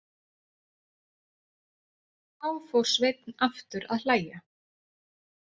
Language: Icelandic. Þá fór Sveinn aftur að hlæja.